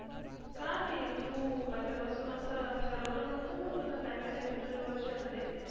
का रे? तू पहिल्यापासून असं ठरवलं नव्हतं का तुला काय करायचं तुझ्या भविश्यामधे